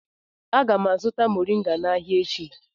Aga m azụta moriga n'ahia echi